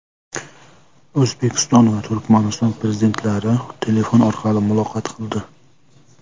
O‘zbekiston va Turkmaniston prezidentlari telefon orqali muloqot qildi.